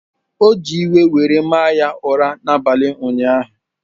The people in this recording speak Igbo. O ji iwe were mara ya ụra n’abalị ụnyaahụ.